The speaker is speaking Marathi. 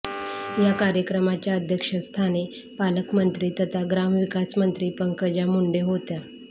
या कार्यक्रमाच्या अध्यक्षस्थानी पालकमंत्री तथा ग्रामविकास मंत्री पंकजा मुंडे होत्या